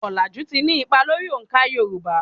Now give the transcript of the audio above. Ọ̀làjù ti ní ipa lórí òǹkà Yorùbá.